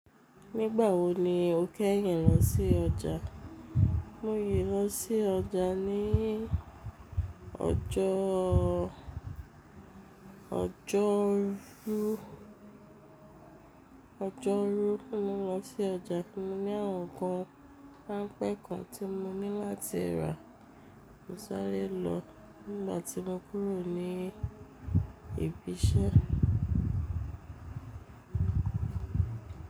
Nígbà wo ni o kẹ́yìn lọ sí ọjà? Mo yí lọ sí ọjà níí ọjọ́ ọjọ́rú, ojoru Mo lọ sí ọjà kí mo ní àwọn nǹkan ránpẹ́ kan tí mo ní láti rà, mo sàrè lọ n gbà tí mo kúrò ní ibi iṣẹ́.